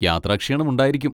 യാത്രാക്ഷീണമുണ്ടായിരിക്കും.